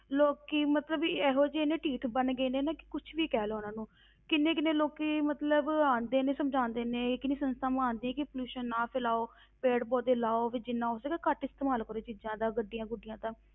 ਲੋਕੀ ਮਤਲਬ ਵੀ ਇਹੋ ਜਿਹੇ ਨੇ ਢੀਠ ਬਣ ਗਏ ਨੇ ਕਿ ਕੁਛ ਵੀ ਕਹਿ ਲਓ ਉਹਨਾਂ ਨੂੰ ਕਿੰਨੇ ਕਿੰਨੇ ਲੋਕੀ ਮਤਲਬ ਆਉਂਦੇ ਨੇ ਸਮਝਾਉਂਦੇ ਨੇ, ਕਿੰਨੀ ਸੰਸਥਾਵਾਂ ਆਉਂਦੀਆਂ ਕਿ pollution ਨਾ ਫੈਲਾਓ ਪੇੜ ਪੌਦੇ ਲਾਓ, ਵੀ ਜਿੰਨਾ ਹੋ ਸਕੇ ਘੱਟ ਇਸਤੇਮਾਲ ਕਰੋ ਚੀਜ਼ਾਂ ਦਾ ਗੱਡੀਆਂ ਗੁੱਡੀਆਂ ਦਾ,